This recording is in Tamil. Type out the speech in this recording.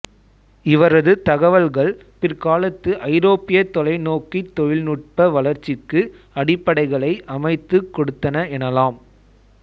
இவரது தகவல்கள் பிற்காலத்து ஐரோப்பிய தொலைநோக்கித் தொழில்நுட்ப வளர்ச்சிக்கு அடிப்படைகளை அமைத்துக் கொடுத்தன எனலாம்